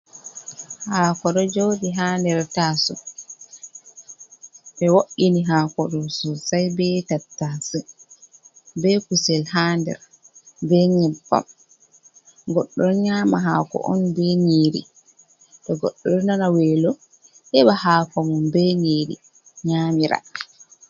Haako ɗo joodɗi ha nder taasowo, ɓe wo’ini haako ɗo sosay be tattase, be kusel ha nder, be yebbam .Goɗɗo ɗon nyaama haako on be nyiiri to goɗɗo ɗo nana weelo, heɓa haako mum be nyiiri nyaamira.